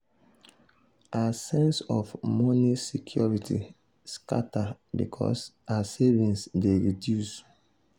her sense of of moni security scata because her savings dey reduce.